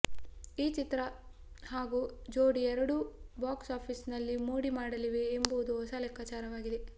ಈ ಚಿತ್ರ ಹಾಗೂ ಜೋಡಿ ಎರಡೂ ಬಾಕ್ಸ್ಆಫೀಸಿನಲ್ಲಿ ಮೋಡಿ ಮಾಡಲಿವೆ ಎಂಬುದು ಹೊಸ ಲೆಕ್ಕಾಚಾರವಾಗಿದೆ